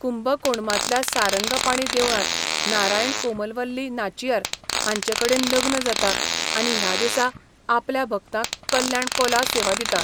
कुंबकोणमांतल्या सारंगापाणी देवळांत नारायण कोमलवल्ली नाचियार हांचेकडेन लग्न जाता आनी ह्या दिसा आपल्या भक्तांक कल्याण कोला सेवा दिता.